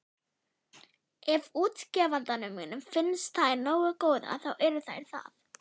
Ef útgefandanum finnst þær nógu góðar, þá eru þær það.